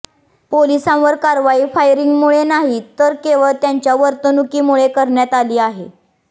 पोलिसांवर कारवाई फायरींगमुळे नाही तर केवळ त्यांच्या वर्तणुकीमुळे करण्यात आली